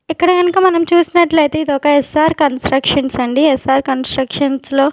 ఇక్కడ కనక మనం చూసినట్లయితే ఇది ఒక ఎస్_ఆర్ కన్స్ట్రక్షన్స్ అండి ఎస్_ఆర్ కన్స్ట్రక్షన్స్ లో.